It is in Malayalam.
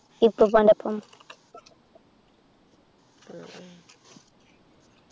ഉപ്പൂപ്പാൻ്റെ ഒപ്പം